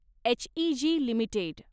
HEG limited